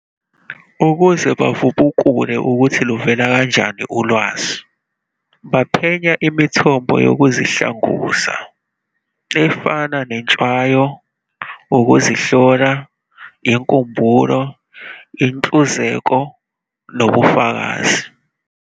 Ukuze bavubukule ukuthi luvela kanjani ulwazi, baphenya imithombo yokuzihlanguza, efana nentshwayo, ukuzihlola, inkumbulo, inhluzeko, nobufakazi.